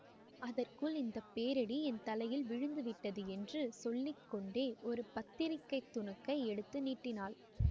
அதற்குள் இந்த பேரிடி என் தலையில் விழுந்துவிட்டது என்று சொல்லி கொண்டே ஒரு பத்திரிகை துணுக்கை எடுத்து நீட்டினான்